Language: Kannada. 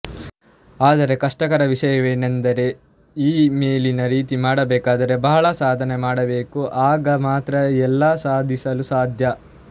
ಆದರೆ ಕಷ್ಟಕರ ವಿಷಯವೆಂದರೆ ಈ ಮೇಲಿನ ರೀತಿ ಮಾಡಬೇಕಾದರೆ ಬಹಳ ಸಾಧನೆ ಮಾಡಬೇಕು ಆಗ ಮಾತ್ರ ಎಲ್ಲಾ ಸಾಧಿಸಲು ಸಾಧ್ಯ